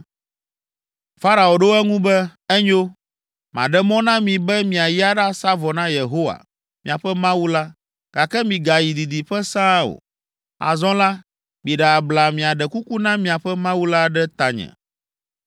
Farao ɖo eŋu be, “Enyo, maɖe mɔ na mi be miayi aɖasa vɔ na Yehowa, miaƒe Mawu la, gake migayi didiƒe sãa o. Azɔ la, miɖe abla miaɖe kuku na miaƒe Mawu la ɖe tanye.”